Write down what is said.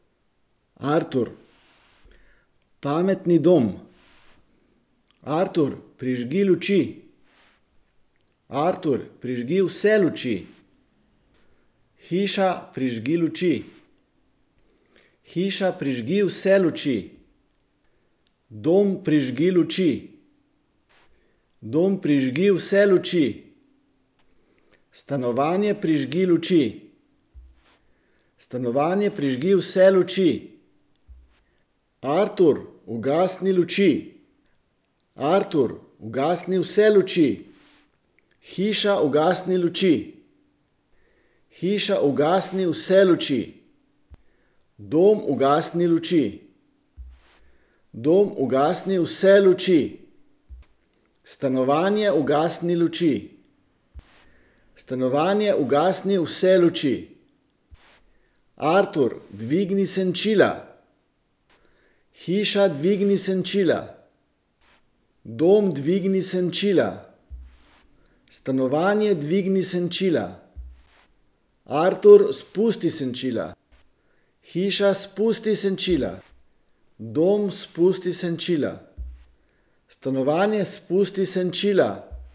Artur. Pametni dom. Artur, prižgi luči. Artur, prižgi vse luči. Hiša, prižgi luči. Hiša, prižgi vse luči. Dom, prižgi luči. Dom, prižgi vse luči. Stanovanje, prižgi luči. Stanovanje, prižgi vse luči. Artur, ugasni luči. Artur, ugasni vse luči. Hiša, ugasni luči. Hiša, ugasni vse luči. Dom, ugasni luči. Dom, ugasni vse luči. Stanovanje, ugasni luči. Stanovanje, ugasni vse luči. Artur, dvigni senčila. Hiša, dvigni senčila. Dom, dvigni senčila. Stanovanje, dvigni senčila. Artur, spusti senčila. Hiša, spusti senčila. Dom, spusti senčila. Stanovanje, spusti senčila.